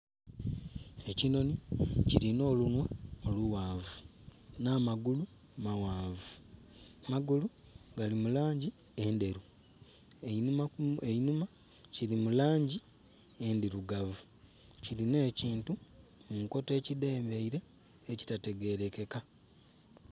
Ekinhonhi kilina olunhwa olughanvu, n'amagulu maghanvu, amagulu gali mu langi endheru. Einhuma kili mu langi endhirugavu, kilina ekintu munkoto ekidhengeire ekitategelekeka.